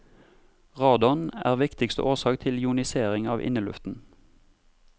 Radon er viktigste årsak til ionisering av inneluften.